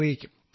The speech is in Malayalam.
അറിയിക്കും